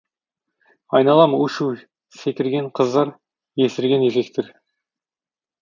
айналам у шу секірген қыздар есірген еркектер